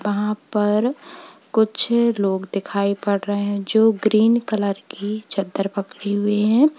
यहां पर कुछ लोग दिखाई पड़ रहे हैं जो ग्रीन कलर की चद्दर पकड़े हुए हैं।